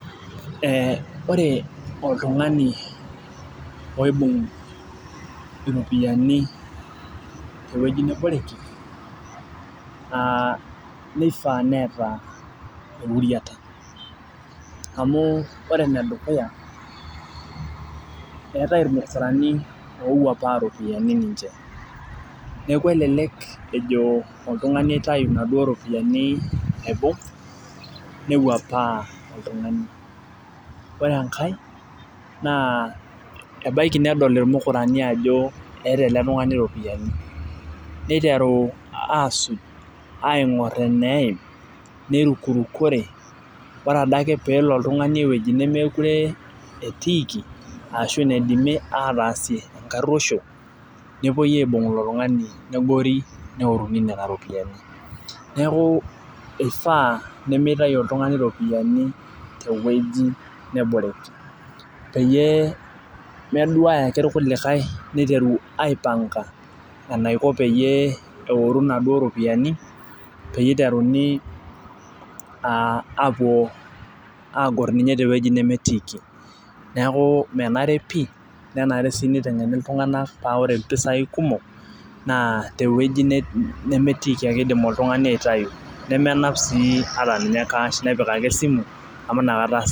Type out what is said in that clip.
Ore oltung'ani oibung' iropiyiani tewoji neboreki, naa nifaa neeta euriata. Amu ore enedukuya, eetae irmukurani owuapaa ropiyiani ninche. Neeku elelek ejo oltung'ani aitayu naduo ropiyiani aibung', newuapaa oltung'ani. Ore enkae, naa ebaiki nedol irmukurani ajo eeta ele tung'ani ropiyiani. Niteru asuj aing'or eneim, neirukurukore, ore adake pelo oltung'ani ewueji nemekure etiiki, ashu naidimi ataasie enkarruosho, nepoi aibung' ilo tung'ani negori neoruni nena ropiyiani. Neeku ifaa pimitayu oltung'ani ropiyiani tewueji neboreki. Peyie meduaya ake irkulikae niteru aipanga enaiko peyie eoru naduo ropiyiani, piteruni apuo agor ninye tewueji nemetiiki. Neeku menare pi, nenare si niteng'eni iltung'anak pa ore mpisai kumok, naa tewueji nemetiiki ake idim oltung'ani aitayu. Nemenap si ataninye cash nepik ake esimu, amu nakata